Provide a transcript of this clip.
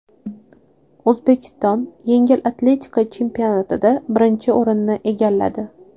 O‘zbekiston yengil atletika chempionatida birinchi o‘rinni egalladi.